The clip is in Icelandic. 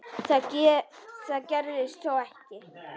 Það gerðist þó ekki.